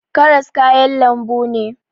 Karas kayan lambu ne